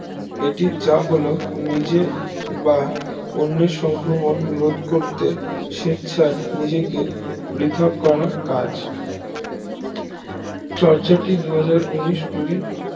এটি যা হলো নিজে বা অন্যের সক্রমণ রোধ করতে স্বেচ্ছায় নিজেকে পৃথক করার কাজ চর্চাটি দুহাজার উনিশ কুড়ি